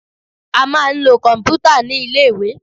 A máa ń lo kọ̀m̀pútà ní ilé-ìwé